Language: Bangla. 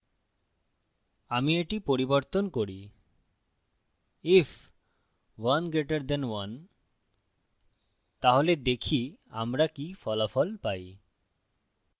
আমি এটি পরিবর্তন করি if 1> 1 তাহলে দেখি আমরা কি ফলাফল পাই